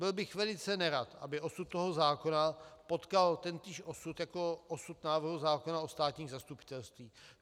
Byl bych velice nerad, aby osud toho zákona potkal tentýž osud jako osud návrhu zákona o státních zastupitelstvích.